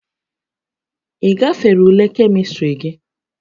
Ị gafere ule Kemịstrị gị?